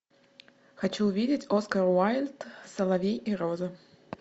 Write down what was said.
хочу увидеть оскар уайльд соловей и роза